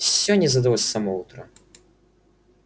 всё не задалось с самого утра